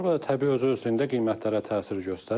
Bu da təbii özü-özlüyündə qiymətlərə təsir göstərir.